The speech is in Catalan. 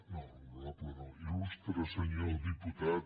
no hono·rable no il·lustre senyor diputat